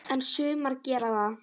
En sumar gera það.